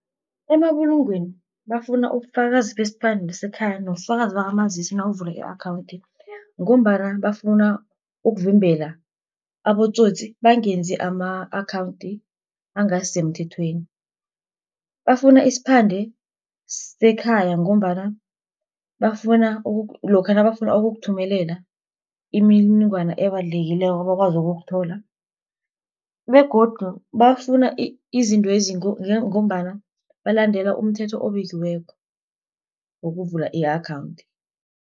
Emabulungweni bafuna ubufakazi besiphande sekhaya, nobufakazi bakamazisi nawuvula i-akhawunthi ngombana bafuna ukuvimbela abotsotsi bangenzi ama-akhawunthi angasisemthethweni. Bafuna isiphande sekhaya, ngombana lokha nabafuna ukukuthumela imininingwana ebalulekileko bakwazi ukuthola, begodu bafuna izintwezi ngombana balandela umthetho obekiweko wokuvula i-akhawunthi.